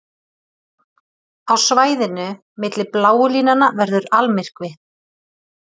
Á svæðinu milli bláu línanna verður almyrkvi.